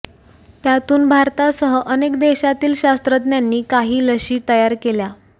त्यातून भारतासह अनेक देशांतील शास्त्रज्ञांनी काही लशी तयार केल्या